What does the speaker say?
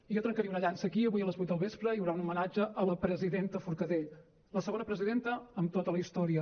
jo trencaria una llança aquí avui a les vuit del vespre hi haurà un homenatge a la presidenta forcadell la segona presidenta en tota la història